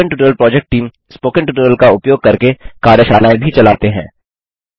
spoken tutorial project team spoken tutorial का उपयोग करके कार्यशालाएँ भी चलाते हैं